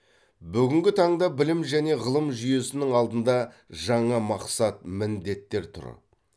бүгінгі таңда білім және ғылым жүйесінің алдында жаңа мақсат міндеттер тұр